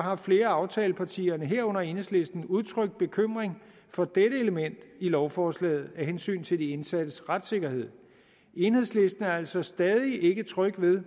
har flere af aftalepartierne herunder enhedslisten udtrykt bekymring for dette element i lovforslaget af hensyn til de indsattes retssikkerhed enhedslisten er altså stadig ikke tryg ved